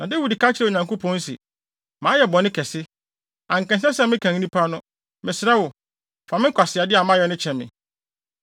Na Dawid ka kyerɛɛ Onyankopɔn se, “Mayɛ bɔne kɛse. Anka ɛnsɛ sɛ mekan nnipa no. Mesrɛ wo, fa me nkwaseade a mayɛ no kyɛ me.”